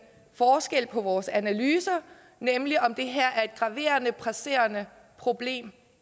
forskel på vores analyser nemlig om det her er et graverende presserende problem